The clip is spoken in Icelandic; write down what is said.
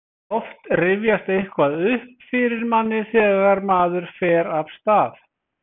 oft rifjast eitthvað upp fyrir manni þegar maður fer af stað